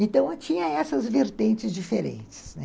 Então, tinha essas vertentes diferentes, né.